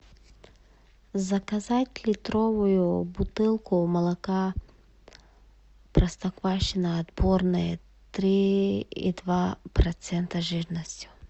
заказать литровую бутылку молока простоквашино отборное три и два процента жирности